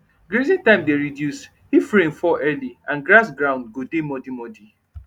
grazing time dey reduce if rain fall early and grass ground go dey muddy muddy